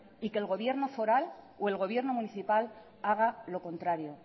y que el gobierno foral o el gobierno municipal haga lo contrario